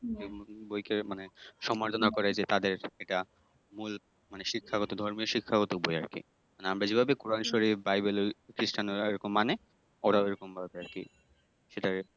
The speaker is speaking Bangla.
হম ওইটা মানে সম্মানিত না করা যে তাদের এটা মূল শিক্ষাগত মানে ধর্মের শিক্ষাগত বই আরকি মানে আমরা যেভাবে কোরআন-শরীফ বা বাইবেল ওই খ্রীষ্টানেরা মানে ওরাও ওইরকমভাবে সেটা